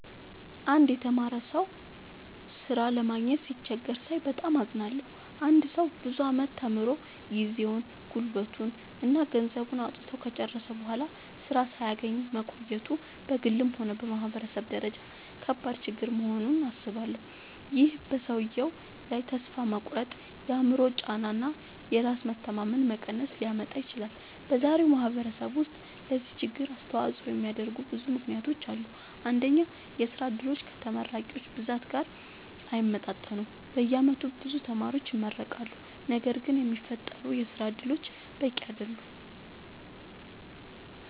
አንድ የተማረ ሰው ሥራ ለማግኘት ሲቸገር ሳይ በጣም አዝናለሁ። አንድ ሰው ብዙ ዓመታት ተምሮ፣ ጊዜውን፣ ጉልበቱን እና ገንዘቡን አውጥቶ ከጨረሰ በኋላ ሥራ ሳያገኝ መቆየቱ በግልም ሆነ በማህበረሰብ ደረጃ ከባድ ችግር መሆኑን አስባለሁ። ይህ በሰውየው ላይ ተስፋ መቁረጥ፣ የአእምሮ ጫና እና የራስ መተማመን መቀነስ ሊያመጣ ይችላል። በዛሬው ማህበረሰብ ውስጥ ለዚህ ችግር አስተዋጽኦ የሚያደርጉ ብዙ ምክንያቶች አሉ። አንደኛ፣ የሥራ ዕድሎች ከተመራቂዎች ብዛት ጋር አይመጣጠኑም። በየዓመቱ ብዙ ተማሪዎች ይመረቃሉ፣ ነገር ግን የሚፈጠሩ የሥራ እድሎች በቂ አይደሉም።